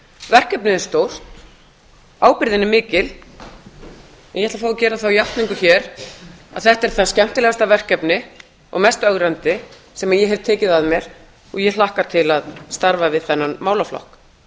verkefnið er stórt ábyrgðin er mikil en ég ætla að fá að gera þá játningu hér að þetta er það skemmtilegasta verkefni og mest ögrandi sem ég hef tekið að mér og ég hlakka til að starfa við þennan málaflokk